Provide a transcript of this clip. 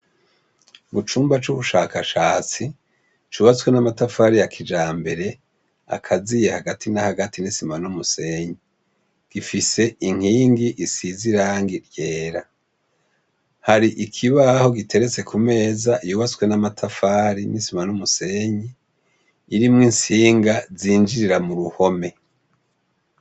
Mucumba c'ubushakashatsi ,cubatswe n'amatafari yakijambere, agaziye hagati na hagati n'isima n'umusenyi, gifise inkingi isize irangi ryera. Hari ikibaho giteretse Ku meza yubatse n'amatafari n'isima n'umusenyi, irimwo intsinga zinjirira muruhome.